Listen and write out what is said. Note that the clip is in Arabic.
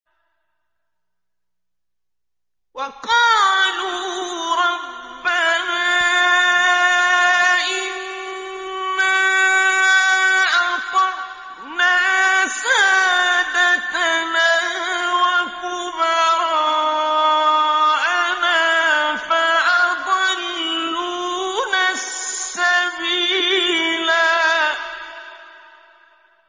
وَقَالُوا رَبَّنَا إِنَّا أَطَعْنَا سَادَتَنَا وَكُبَرَاءَنَا فَأَضَلُّونَا السَّبِيلَا